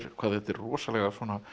hvað þetta er rosalega